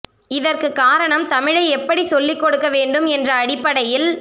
இதற்கு காரணம் தமிழை எப்படி சொல்லிக் கொடுக்க வேண்டும் என்ற அடிப்படையில்